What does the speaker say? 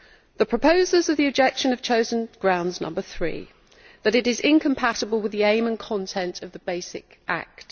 The proposers of the objection have chosen ground number three, that it is incompatible with the aim and content of the basic Act.